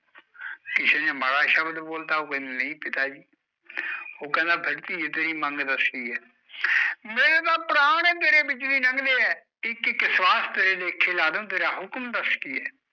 ਕਿਸੇ ਨੇ ਮਾੜਾ ਸ਼ਬਦ ਬੋਲਤਾ, ਉਹ ਕਹਿੰਦੀ ਨਹੀਂ ਪਿਤਾ ਜੀ ਉਹ ਕਹਿੰਦਾ ਫਿਰ ਧੀਏ ਤੇਰੀ ਮੰਗ ਦੱਸ ਕੀ ਐ ਮੇਰੇ ਤਾਂ ਪ੍ਰਾਣ ਈ ਤੇਰੇ ਵਿੱਚਦੀ ਲੰਘ ਦੇ ਐ ਇੱਕ ਇੱਕ ਸਵਾਸ ਤੇਰੇ ਲੇਖੇ ਲਾਦੂ, ਤੇਰਾ ਹੁਕਮ ਦੱਸ ਕੀ ਐ